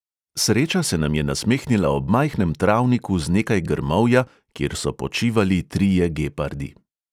Sreča se nam je nasmehnila ob majhnem travniku z nekaj grmovja, kjer so počivali trije gepardi.